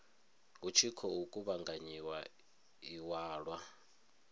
hu tshi khou kuvhanganyiwa iwalwa